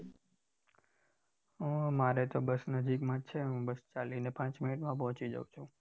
હ મારે તો બસ નજીક માં જ છે હું ચાલીને પાચ minute માં પોચી જાઉં છું